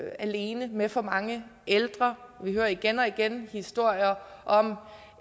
alene med for mange ældre vi hører igen og igen historier om